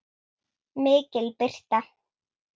MIKIL BIRTA